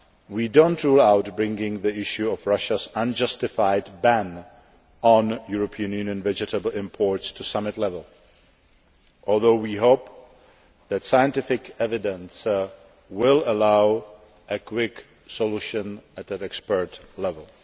We do not rule out bringing the issue of Russia's unjustified ban on European Union vegetable imports to summit level, although we hope that scientific evidence will allow a quick solution at an expert level.